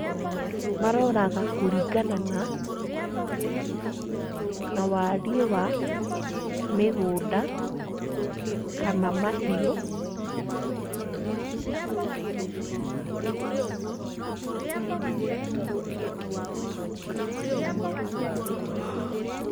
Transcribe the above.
Maroraga kũringana na na wariĩ wa mĩgũnda kana mahiũ.